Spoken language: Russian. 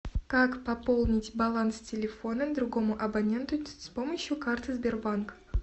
как пополнить баланс телефона другому абоненту с помощью карты сбербанк